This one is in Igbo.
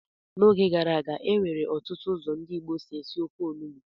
N'oge gara aga, e nwere ọtụtụ ụzọ ndị Igbo si esi ofe onugbu.